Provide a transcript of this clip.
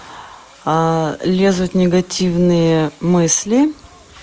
лезут негативные мысли